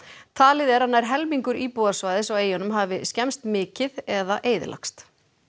talið er að nær helmingur íbúðarhúsnæðis á eyjunum hafi skemmst mikið eða eyðilagst